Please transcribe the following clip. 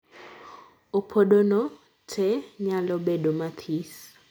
opodo no tee nyalo bedo mathis.